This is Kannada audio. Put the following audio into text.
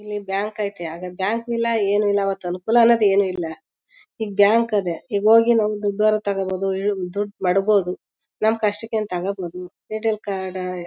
ಇಲ್ಲಿ ಬ್ಯಾಂಕ್ ಐತೆ ಆಗ ಬ್ಯಾಂಕು ಇಲ್ಲ ಏನು ಇಲ್ಲ ಅವತ್ ಅನುಕೂಲ ಅನ್ನೋದ್ ಏನು ಇಲ್ಲ ಈಗ್ ಬ್ಯಾಂಕ್ ಅದೇ ಈಗ್ ಹೋಗಿ ನಾವ್ ದುಡ್ ಆರ ತೊಗೊಂಡ್ಬೋದು ಈವ್ ದುಡ್ ಮಡಿಗ್ ಬೋದು ನಮ್ ಕಷ್ಟಕ್ಕೆ ತೊಗೊಂಡ್ಬೋದು ಎ ಟಿ ಎಲ್ ಕಾರ್ಡ್